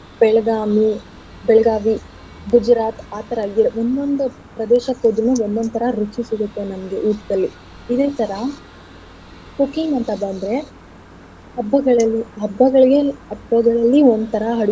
Belgaum, Belagavi, Gujarat ಆತರ ಒಂದೊಂದ್ ಪ್ರದೇಶಕ್ ಹೋದ್ರುನು ಒಂದೊಂದ್ ತರ ರುಚಿ ಸಿಗತ್ತೆ ನಿಮ್ಗೇ ಊಟ್ದಲ್ಲಿ. ಇದೆ ತರ cooking ಅಂತ ಬಂದ್ರೆ ಹಬ್ಬಗಳಲ್ಲಿ ಹಬ್ಬಗಳಿಗೆ ಹಬ್ಬಗಳಲ್ಲಿ ಒಂದ್ ತರ ಅಡ್ಗೆ.